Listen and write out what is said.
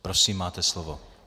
Prosím, máte slovo.